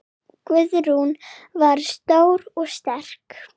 Guðrún var stór og sterk.